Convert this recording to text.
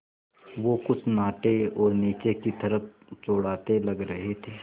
वो कुछ नाटे और नीचे की तरफ़ चौड़ाते लग रहे थे